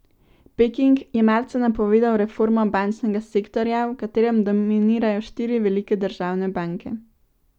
Peking je marca napovedal reformo bančnega sektorja, v katerem dominirajo štiri velike državne banke.